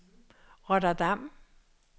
Rotterdam